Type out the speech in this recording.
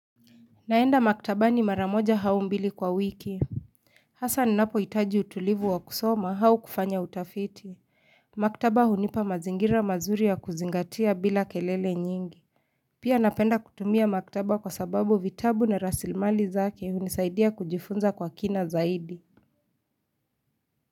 Naenda maktaba ni maramoja haumbili kwa wiki Hassan napo itaji utulivu wa kusoma haukufanya utafiti Maktaba hunipa mazingira mazuri ya kuzingatia bila kelele nyingi Pia napenda kutumia maktaba kwa sababu vitabu na rasilmali zake unisaidia kujifunza kwa kina zaidi.